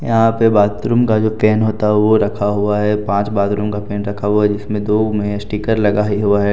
यहां पे बाथरूम का जो केन होता है वो रखा हुआ है पांच बाथरूम का केन रखा हुआ है जिसमें दो में स्टीकर लगा हुआ है।